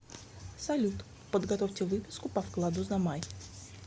салют подготовьте выписку по вкладу за май